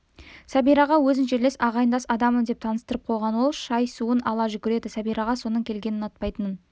сәбираға өзін жерлес ағайындас адаммын деп таныстырып қойған ол шай-суын ала жүгіреді сәбираға соның келгенін ұнатпайтынын